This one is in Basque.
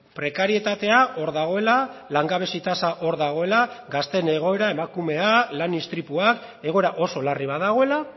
prekarietatea hor dagoela langabezia tasa hor dagoela gazteen egoera emakumea lan istripuak egoera oso larri bat dagoela